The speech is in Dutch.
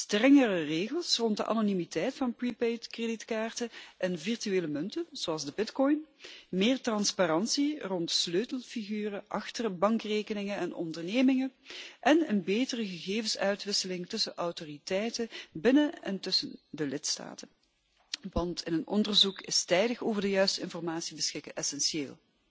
Strengere regels rond de anonimiteit van prepaid creditcards en virtuele munten zoals de bitcoin, meer transparantie rond sleutelfiguren achter bankrekeningen en ondernemingen en een betere gegevensuitwisseling tussen autoriteiten binnen en tussen de lidstaten want in een onderzoek is tijdig over de juiste informatie beschikken essentieel.